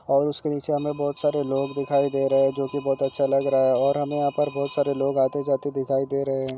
ओर इसके नीचे हमे बहुत सारे लोग दिखाई दे रहे है जो की बहुत अच्छा लग रहा है और हमे यहाँ पर बहुत सारे लोग आते जाते दिखाई दे रहे है।